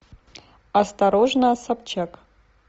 осторожно собчак